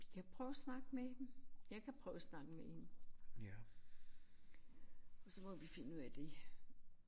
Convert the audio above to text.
Vi kan prøve at snakke med hende. Jeg kan prøve at snakke med hende og så må vi finde ud af det